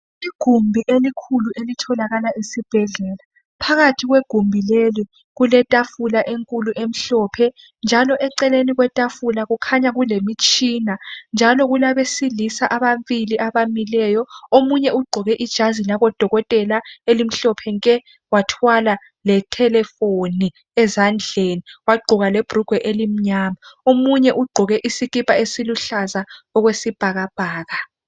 Igumbi elikhulu elitholakala esibhedlela. Phakathi kwegumbi leli kuletafula enkulu emhlophe .Njalo eceleni kwetafula kukhanya kulemitshina .Njalo kulabesiisa ababili abamileyo. Omunye ugqoke ijazi labodokotela elimhlophe nke .Wathwala le telephone ezandleni ,wagqoka lebhulugwe elimnyama .Omunye ugqoke isikipa esiluhlaza okwesibhakabhaka.